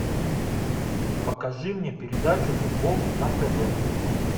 покажи мне передачу футбол на тв